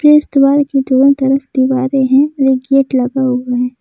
इस दीवार की दोनों तरफ दीवारे है और एक गेट लगा हुआ है।